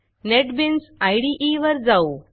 NetBeans IDE वर जाऊ